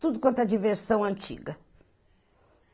Tudo quanto a diversão antiga.